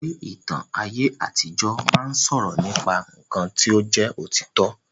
Eré ìtàn aye àtijọ máa ni sọ̀rọ̀ nípa nkán ti o jẹ òtítọ.